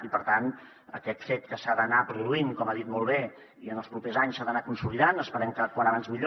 i per tant aquest fet que s’ha d’anar produint com ha dit molt bé i en els propers anys s’ha d’anar consolidant esperem que com més aviat millor